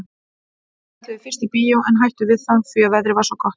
Þau ætluðu fyrst í bíó en hættu við það því að veðrið var svo gott.